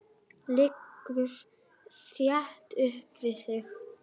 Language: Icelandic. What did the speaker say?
Liggur þétt upp við þig.